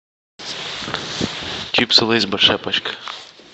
чипсы лейс большая пачка